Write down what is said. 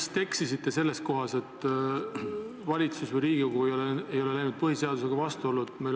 Te vist eksisite selles kohas, et valitsus või Riigikogu ei ole läinud põhiseadusega vastuollu.